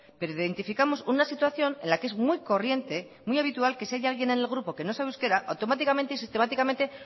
pero identificamos una situación en la que es muy corriente muy habitual que si hay alguien en el grupo que no sabe euskera automáticamente sistemáticamente